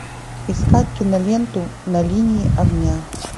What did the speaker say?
искать киноленту на линии огня